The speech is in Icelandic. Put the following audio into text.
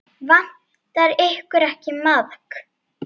Vantar ykkur ekki maðk?